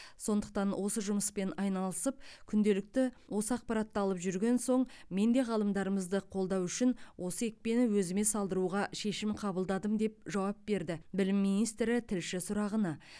сондықтан осы жұмыспен айналысып күнделікті осы ақпаратты алып жүрген соң мен де ғалымдарымызды қолдау үшін осы екпені өзіме салдыруға шешім қабылдадым деп жауап берді білім министрі тілші сұрағына